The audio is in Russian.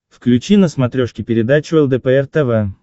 включи на смотрешке передачу лдпр тв